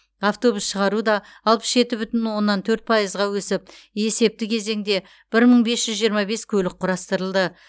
автобус шығару да алпыс жеті бүтін оннан төрт пайыз өсіп есепті кезеңде бір мың бес жүз жиырма бес көлік құрастырылды